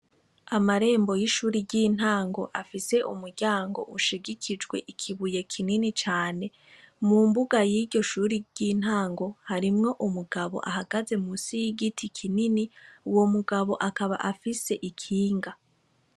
Amarembo y'ishuri ry'intango afise umuryango ushigikijwe ikibuye kinini cane. Mu mbuga y'iryo shuri ry'intango harimwo umugabo ahagaze musi y'igiti kinini, uwo mugabo akaba afise ikinga.